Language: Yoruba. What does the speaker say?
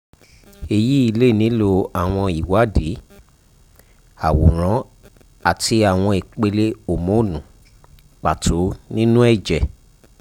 eyi le nilo awọn iwadii aworan ati awọn ipele homonu pato ninu ẹjẹ